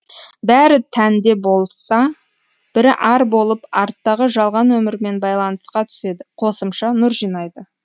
бәрі тәнді болса бірі ар болып арттағы жалған өмірмен байланысқа түседі қосымша нұр жинайды